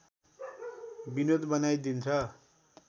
विनोद बनाइदिन्छ